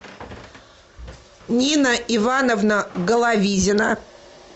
нина ивановна головизина